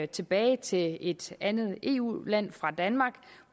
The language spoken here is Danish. tilbage til et andet eu land fra danmark